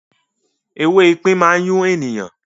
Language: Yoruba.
“ewé ipín” má n yún ènìyàn.